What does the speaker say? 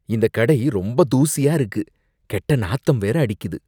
இந்த கடை ரொம்ப தூசியா இருக்கு, கெட்ட நாத்தம் வேற அடிக்குது.